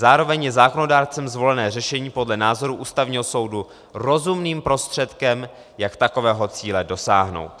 Zároveň je zákonodárcem zvolené řešení podle názoru Ústavního soudu rozumným prostředkem, jak takového cíle dosáhnout."